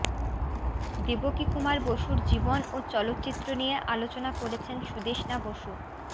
দেবকীকুমার বসুর জীবন ও চলচ্চিত্র নিয়ে আলোচনা করেছেন সুদেষ্ণা বসু